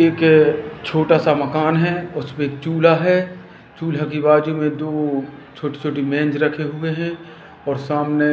एक क छोटा सा मकान हैं उस पे चूल्हा हैं चूल्हे के बाजू मैं दो छोटी-छोटी मेंज रखे रखे हुवे हैं और सामने